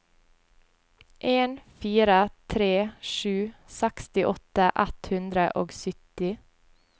en fire tre sju sekstiåtte ett hundre og sytti